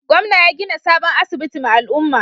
Gwamnan ya gina sabon asibiti ma al'umman.